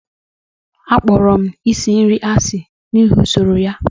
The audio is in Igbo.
Akpọrọ m isi nri asị n'ihi usoro ya.